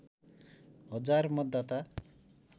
हजार मतदाता